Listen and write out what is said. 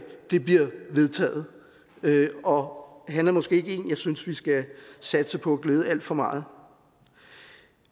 bliver vedtaget og han er måske ikke en jeg synes vi skal satse på at glæde alt for meget